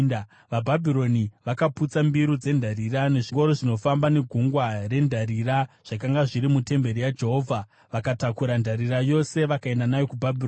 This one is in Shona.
VaBhabhironi vakaputsa mbiru dzendarira, nezvingoro zvinofamba neGungwa rendarira zvakanga zviri mutemberi yaJehovha vakatakura ndarira yose vakaenda nayo kuBhabhironi.